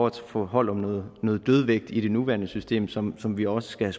at få hold om noget dødvægt i det nuværende system som som vi også skal